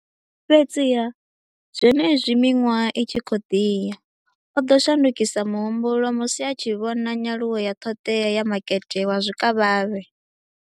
Fhedziha, zwenezwi miṅwaha i tshi khou ḓi ya, o ḓo shandukisa muhumbulo musi a tshi vhona nyaluwo ya ṱhoḓea ya makete wa zwikavhavhe.